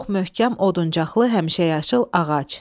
Çox möhkəm oduncaqlı həmişəyaşıl ağac.